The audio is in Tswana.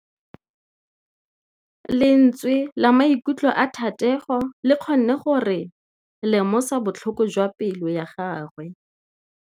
Lentswe la maikutlo a Thategô le kgonne gore re lemosa botlhoko jwa pelô ya gagwe.